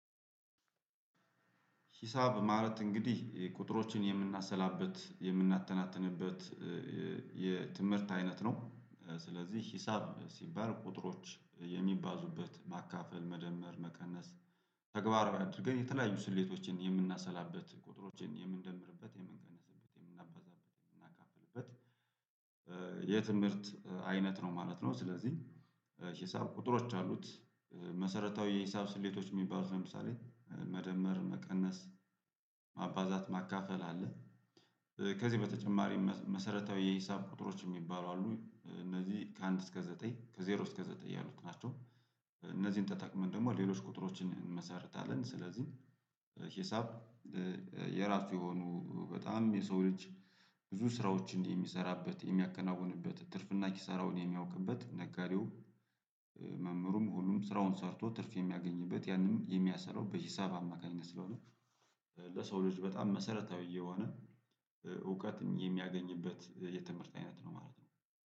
ሂሳብ ማለት እንግዲህ ቁጥሮችን የምናሰላበት የምናተናትንበት የትምህርት አይነት ነው። ስለዚህ ሂሳብ ሲባል ቁጥሮች የሚባዙበት ማካፈል መደመር መቀነስ ተግባር አድርገን የተለያዩ ስሌቶችን የምናሰላበት ቁጥሮችን የምንደምርበት የምንቀንስበት የምናባዛበት የምናካፍልበት የትምህርት አይነት ነው ማለት ነው። ስለዚህ ሂሳብ ቁጥሮች አሉት መሰረታዊ የሂሳብ ስሌቶች የሚባሉት ለምሳሌ መደመር መቀነስ ማባዛት ማካፈል አለ። ከዚህ በተጨማሪ መሰረታዊ የሂሳብ ቁጥሮች የሚባሉ አሉ እነዚህ ከአንድ እስከ ዘጠኝ ከዜሮ እስከ ዘጠኝ ያሉት ናቸው። እነዚህን ተጠቅመን ደግሞ ሌሎች ቁጥሮችን እንመሰርታለን። ስለዚህ ሂሳብ የራሱ የሆኑ በጣም የሰው ልጅ ብዙ ስራዎች እንዲህ የሚሰራበት የሚያከናውንበት ትርፍና ኪሳራውን የሚያውቅበት ነጋዴው መምህሩም ሁሉም ስራውን ሰርቶ ትርፍ የሚያገኝበት ያንን የሚያሰራው በሂሳብ አማካኝነት ስለሆነ። ለሰው ልጅ በጣም መሰረታዊ የሆነ እውቀት የሚያገኝበት የትምህርት አይነት ነው ማለት ነው